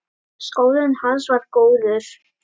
Skólinn hans var góður.